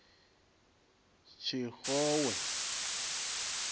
tshixowe